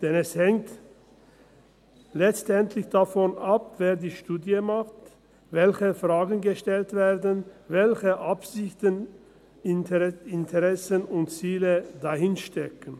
Denn es hängt letztendlich davon ab, wer die Studie macht, welche Fragen gestellt werden, welche Absichten, Interessen und Ziele dahinterstecken.